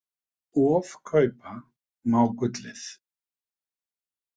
Ofkaupa má gullið.